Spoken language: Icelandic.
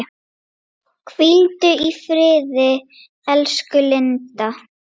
Hvíldu í friði, elsku Linda.